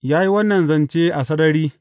Ya yi wannan zance a sarari.